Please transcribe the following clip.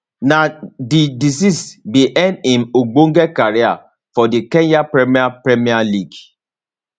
na di disease bin end im ogbonge career for di kenyan premier premier league